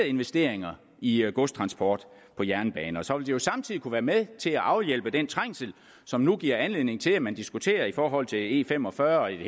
investeringer i i godstransport på jernbane og så ville jo samtidig kunne være med til at afhjælpe den trængsel som nu giver anledning til at man diskuterer i forhold til e fem og fyrre og i det